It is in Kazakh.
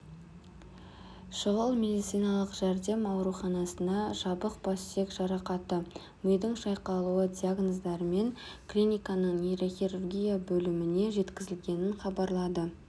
шұғыл медициналық жәрдем аурузанасына жабық бассүйек жарақаты мидың шайқалуы диагноздарымен клиниканың нейрохирургия бөліміне жеткізілгенін хабарлады